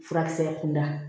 Furakisɛ kunda